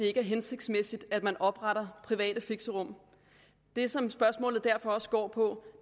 er hensigtsmæssigt at man opretter private fixerum det som spørgsmålet derfor også går på